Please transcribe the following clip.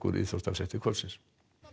íþróttafréttir kvöldsins